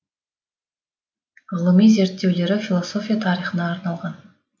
ғылыми зерттеулері философия тарихына арналған